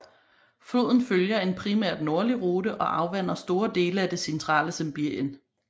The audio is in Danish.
Floden følger en primært nordlig rute og afvander store dele af det centrale Sibirien